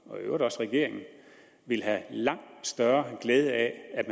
og i øvrigt også regeringen ville have langt større glæde af at